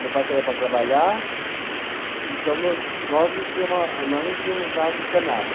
Meu pai saía para trabalhar, então no nós não tínhamos a, nós não tínhamos água encanada.